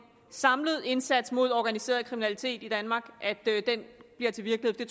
samlet indsats mod organiseret kriminalitet i danmark bliver til virkelighed